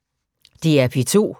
DR P2